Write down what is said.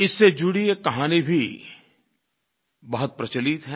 इससे जुड़ी एक कहानी भी बहुत प्रचलित है